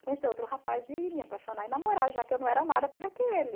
Conhecer outro rapaz e me apaixonar e namorar, já que eu não era amada por aquele.